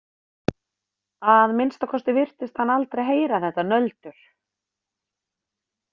Að minnsta kosti virtist hann aldrei heyra þetta nöldur.